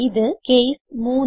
ഇത് കേസ് 3